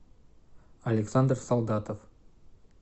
александр солдатов